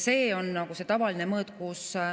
See on nagu tavaline mõõt.